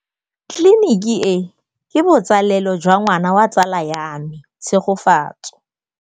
Tleliniki e, ke botsalêlô jwa ngwana wa tsala ya me Tshegofatso.